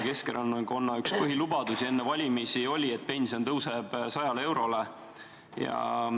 Keskerakonna üks põhilubadusi enne valimisi oli, et pension tõuseb 100 eurole.